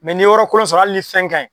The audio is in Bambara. Mɛ n'i ye yɔrɔ kolon sɔrɔ ali ni fɛn kaɲi